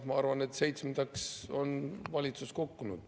Ma arvan, et seitsmendaks on valitsus kukkunud.